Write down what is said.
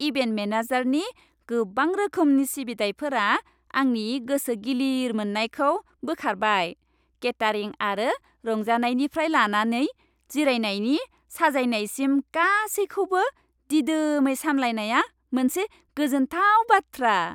Event मेनेजारनि गोबां रोखोमनि सिबिथाइफोरा आंनि गोसो गिलिर मोननायखौ बोखारबाय, केटारिं आरो रंजानायनिफ्राय लानानै जिरायनायनि साजायनायसिम, गासैखौबो दिदोमै सामलायनाया मोनसे गोजोनथाव बाथ्रा।